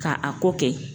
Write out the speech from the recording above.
K'a a ko kɛ